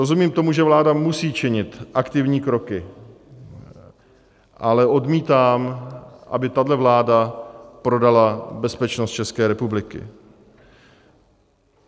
Rozumím tomu, že vláda musí činit aktivní kroky, ale odmítám, aby tahle vláda prodala bezpečnost České republiky.